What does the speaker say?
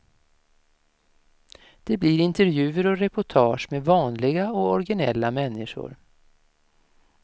Det blir intervjuer och reportage med vanliga och originella människor.